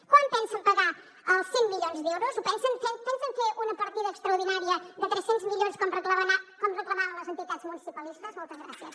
quan pensen pagar els cent milions d’euros pensen fer una partida extraordinària de tres cents milions com reclamaven les entitats municipalistes moltes gràcies